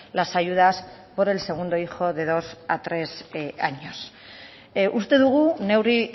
las ayudas por el segundo hijo de dos a tres años uste dugu neurri